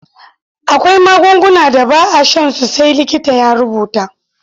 Akwai magungunan da ba a shan su sai likita ya rubuta.